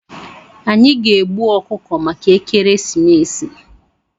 Anyị ga-egbu ọkụkọ maka ekeresimesi.